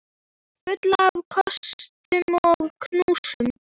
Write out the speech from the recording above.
Fullt af kossum og knúsum.